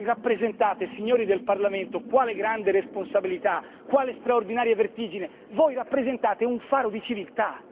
Voi rappresentate, signori del Parlamento quale grande responsabilità, quale straordinaria vertigine voi rappresentate un faro di civiltà.